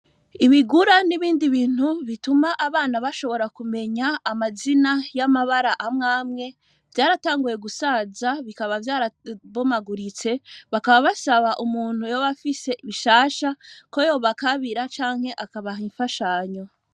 Ibigura n'ibindi bintu bituma abana bashobora kumenya amazina y'amabara amwamwe vyaratanguye gusaza bikaba vyarabomaguritse bakaba basaba umuntu yoba afise bishasha ko yobakabira canke akabaha imfashanyo.